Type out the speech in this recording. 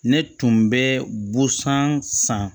Ne tun bɛ busan san